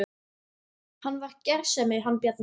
Hann var gersemi hann Bjarni.